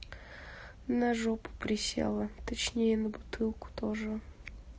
на жопу присела точнее на бутылку тоже